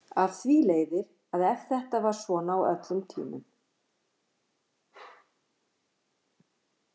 Af því leiðir að ef þetta var svona á öllum tímum.